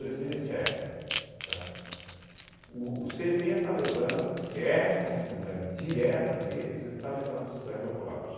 dois mil e sete, tá? O o cê e tê está levando, porque é a responsabilidade direta deles, eles está levando a cidade ao colapso.